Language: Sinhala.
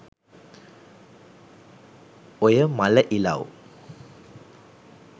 ඔය මළ ඉලව්